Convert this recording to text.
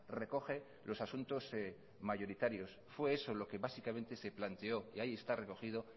recoge los asuntos mayoritarios fue eso lo que básicamente se planteó y ahí está recogido